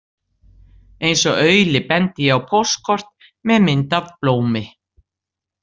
Eins og auli bendi ég á póstkort með mynd af blómi.